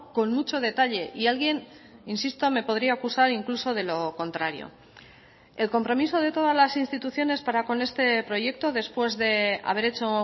con mucho detalle y alguien insisto me podría acusar incluso de lo contrario el compromiso de todas las instituciones para con este proyecto después de haber hecho